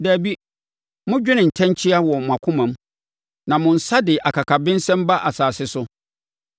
Dabi! Modwene ntɛnkyea wɔ mʼakomam na mo nsa de akakabensɛm ba asase so.